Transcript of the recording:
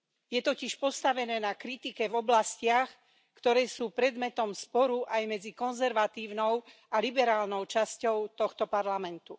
Je totiž postavené na kritike v oblastiach, ktoré sú predmetom sporu aj medzi konzervatívnou a liberálnou časťou tohto Parlamentu.